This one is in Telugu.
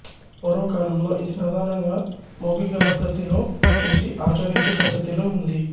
పూర్వ కాలంలో ఇది ప్రధానంగా మౌఖిక పద్ధతిలో చూసి ఆచరించు పద్ధతిలో ఉంది